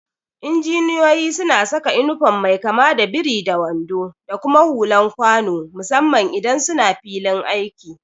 Injiniyoyi suna saka inifom mai kama da biri da wando da kuma hulan kwano musamman idan suna filin aiki.